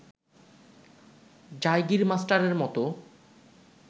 জায়গির মাস্টারের মত